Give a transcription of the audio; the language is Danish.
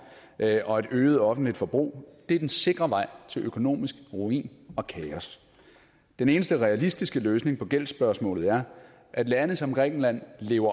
og et øget offentligt forbrug er den sikre vej til økonomisk ruin og kaos den eneste realistiske løsning på gældsspørgsmålet er at lande som grækenland lever